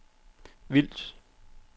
Vils